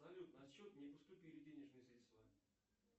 салют на счет не поступили денежные средства